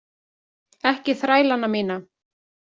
Ekki þrælana mína.